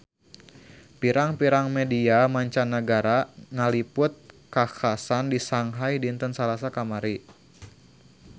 Pirang-pirang media mancanagara ngaliput kakhasan di Shanghai dinten Salasa kamari